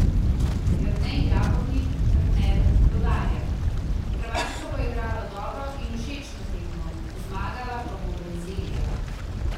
Jernej Javornik, trener Rudarja: "Hrvaška bo igrala dobro in všečno tekmo, zmagala pa bo Brazilija.